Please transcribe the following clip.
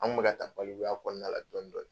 An kun mi ka taa balikuya kɔnɔna la dɔɔnin dɔɔnin